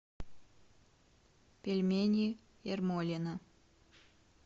пельмени ермолино